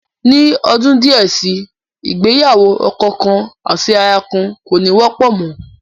Ní ọdún díẹ̀ si, ìgbéyàwó ọkọ kan àti aya kan, kò ní wọ́pọ̀ mọ́